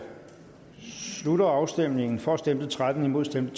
slutter afstemningen for stemte tretten imod stemte